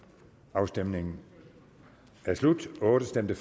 afstemningen er slut for stemte